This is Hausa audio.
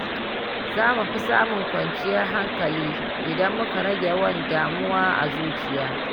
Za mu fi samun kwanciyar hankali idan muka rage yawan damuwa a zuciya.